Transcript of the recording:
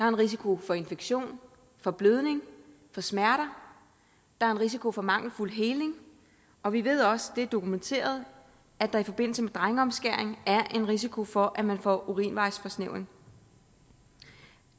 en risiko for infektion for blødning for smerter der er en risiko for mangelfuld heling og vi ved også for det er dokumenteret at der i forbindelse med drengeomskæring er en risiko for at man får urinvejsforsnævring